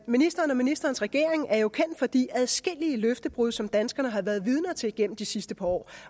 ministeren og ministerens regering er jo kendt for de adskillige løftebrud som danskerne har været vidne til igennem det sidste par år